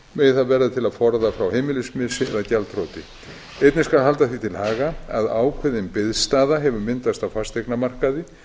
megi það verða til að forða frá heimilismissi eða gjaldþroti einnig skal halda því til haga að ákveðin biðstaða hefur myndast á fasteignamarkaði